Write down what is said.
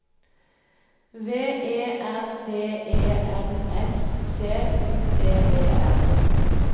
V E R D E N S C U P E N